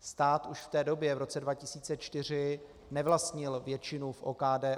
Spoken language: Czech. Stát už v té době v roce 2004 nevlastnil většinu v OKD.